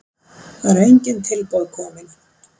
Það eru engin tilboð kominn.